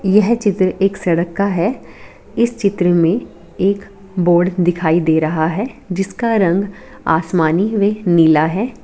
यह चित्र एक सड़क का है इस चित्र मे एक बोर्ड दिखाई दे रहा है जिसका रंग आसमानी व नीला है।